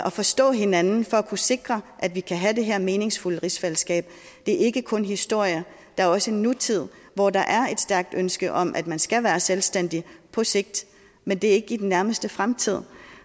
at forstå hinanden for at kunne sikre at vi kan have det her meningsfulde rigsfællesskab det er ikke kun historie der er også en nutid hvor der er et stærkt ønske om at man skal være selvstændig på sigt men det er ikke i den nærmeste fremtid